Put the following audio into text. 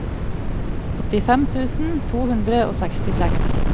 åttifem tusen to hundre og sekstiseks